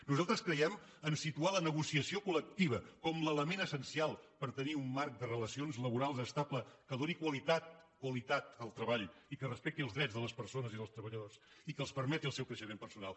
nosaltres creiem en el fet de situar la negociació collectiva com l’element essencial per tenir un marc de relacions laborals estable que doni qualitat qualitat al treball i que respecti els drets de les persones i dels treballadors i que els permeti el seu creixement personal